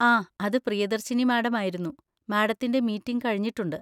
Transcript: ആ, അത് പിയദർശിനി മാഡം ആയിരുന്നു, മാഡത്തിൻ്റെ മീറ്റിങ് കഴിഞ്ഞിട്ടുണ്ട്